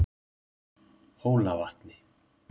Hólavatni